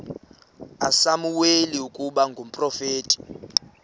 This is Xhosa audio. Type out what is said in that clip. usamuweli ukuba ngumprofeti